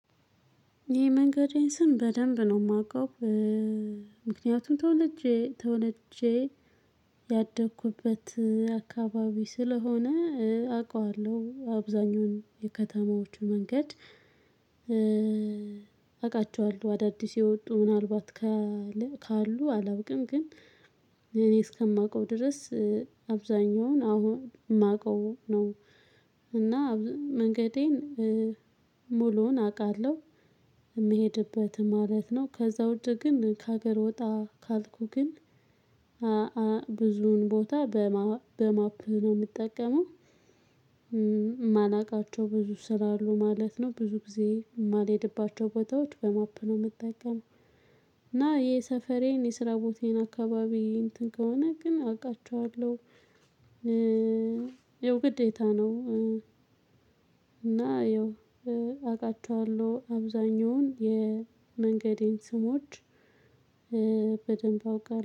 የመንገዴን ስም በደንብ ነው የማውቀው። ምክንያቱም ተወለጄ ተወለጄ ያደኩበት አካባቢ ስለሆነ አውቃለሁ አብዛኛውን የከተማዎቹን መንገድ። አውቃቸዋለሁ አዳዲስ የወጡ ምናልባት ካለ ካሉ አላውቅም። ግን እኔ እስከማውቀው ድረስ አብዛኛውን አሁን የማውቀው ነው። እና መንገዴን ሙሉውን አውቃለሁ የምሄድበት ማለት ነው። ከዚያ ውጪ ግን ከሀገር ወጣ ካልኩ ግን ብዙን ቦታ በማፕ ነው የምጠቀመው። ማላቃቸው ብዙ ስራ አሉ ማለት ነው። ብዙ ጊዜ የማልሄድባቸው ቦታዎች በማፕ ነው የምጠቀመው። እና የሰፈሬን የስራ ቦታዬን አካባቢ እንትን ከሆነ ግን አውቃቸዋለሁ። ይኸው ግዴታ ነው። እና ያው አውቃቸዋለሁ አብዛኛውን የመንገዴን ስሞች በደንብ አውቃለሁ